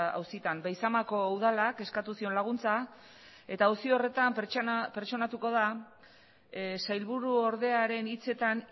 auzitan beizamako udalak eskatu zion laguntza eta auzi horretan pertsonatuko da sailburuordearen hitzetan